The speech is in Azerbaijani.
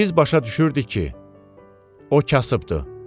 Biz başa düşürdük ki, o kasıbdır.